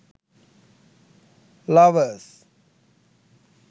lovers